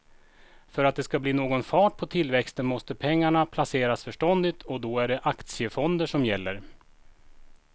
För att det ska bli någon fart på tillväxten måste pengarna placeras förståndigt och då är det aktiefonder som gäller.